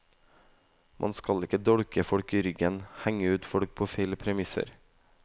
Man skal ikke dolke folk i ryggen, henge ut folk på feil premisser.